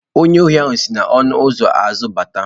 Onye ohi si n'ọnụ ụzọ azụ bata.